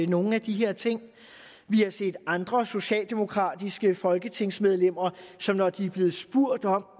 nogle af de her ting vi har set andre socialdemokratiske folketingsmedlemmer som når de er blevet spurgt om